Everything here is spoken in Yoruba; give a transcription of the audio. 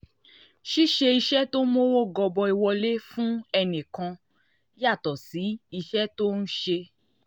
ṣíṣe iṣẹ́ tó ń mówó gọbọi wọlé fún ẹnì kan yàtọ̀ sí iṣẹ́ tó ń ṣe